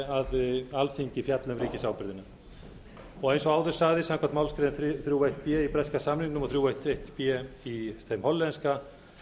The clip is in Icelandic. að alþingi fjalli um ríkisábyrgðina eins og áður sagði samkvæmt málsgrein þrjú eitt b í breska samningnum og þrír einn eitt b í þeim hollenska